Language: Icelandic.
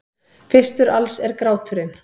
Fyrstur alls er gráturinn.